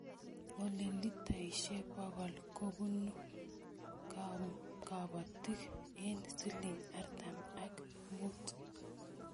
Olee litaishe bokol kobunuu kabotiik eng siling artam ak muut.